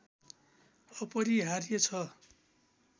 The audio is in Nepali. अपरिहार्य छ